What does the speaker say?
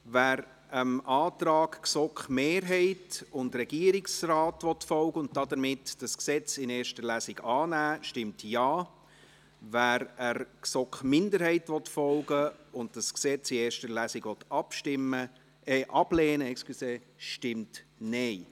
Wer dem Antrag GSoK-Mehrheit und Regierungsrat folgen will und damit das Gesetz in erster Lesung annimmt, stimmt Ja, wer der GSoK-Minderheit folgen will und das Gesetz in erster Lesung ablehnt, stimmt Nein.